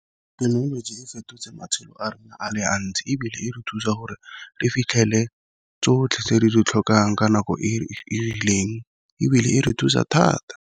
Thekenoloji e fetotse matshelo a rona a le a ntsi ebile e re thusa gore le fitlhele tsotlhe tse di ditlhokang ka nako e rileng, ebile e re thusa thata.